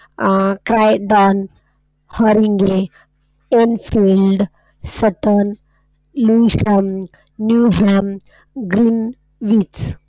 ,,, New ham, .